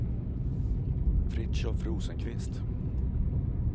Fritiof Rosenqvist